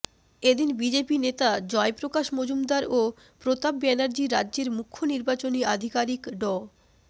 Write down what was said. এদিন বিজেপি নেতা জয়প্রকাশ মজুমদার ও প্রতাপ ব্যানার্জি রাজ্যের মুখ্য নির্বাচনী আধিকারিক ড